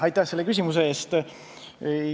Aitäh selle küsimuse eest!